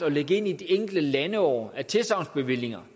at lægge ind i de enkelte landeår af tilsagnsbevillinger